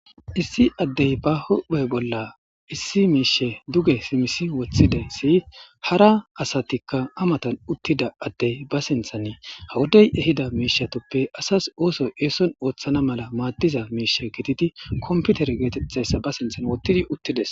Issi addey ba hohphey bolla issi miishe duge simisi woththidesi hara asatikka amatan uttida addey ba sinthan ha wodey ehida miishatoppe asas ooso eeson ooththana mala maaddiza miishe gitidi komputer geetetthayssa ba sinthan wottidi uttides.